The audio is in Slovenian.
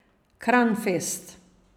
Kranfest.